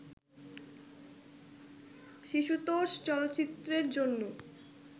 শিশুতোষ চলচ্চিত্রের জন্য